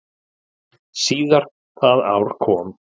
Síðar það ár kom